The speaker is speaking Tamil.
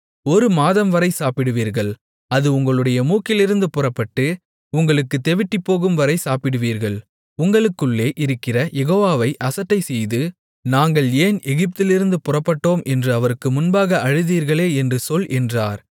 ஒரு மாதம்வரை சாப்பிடுவீர்கள் அது உங்களுடைய மூக்கிலிருந்து புறப்பட்டு உங்களுக்குத் தெவிட்டிப்போகும்வரை சாப்பிடுவீர்கள் உங்களுக்குள்ளே இருக்கிற யெகோவாவை அசட்டைசெய்து நாங்கள் ஏன் எகிப்திலிருந்து புறப்பட்டோம் என்று அவருக்கு முன்பாக அழுதீர்களே என்று சொல் என்றார்